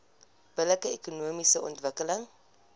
billike ekonomiese ontwikkeling